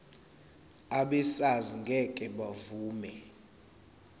abesars ngeke bavuma